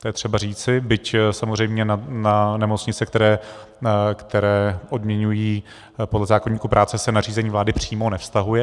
To je třeba říci, byť samozřejmě na nemocnice, které odměňují podle zákoníku práce, se nařízení vlády přímo nevztahuje.